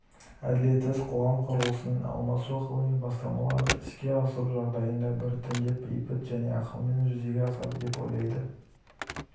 әділетсіз қоғам құрылысының алмасу ғылыми бастамаларды іске асыру жағдайында біртіндеп бейбіт және ақылмен жүзеге асады деп ойлады